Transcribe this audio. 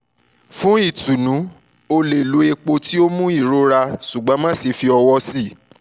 fun itunu o le lo epo ti o mu irora ṣugbọn maṣe fi ọwọ sii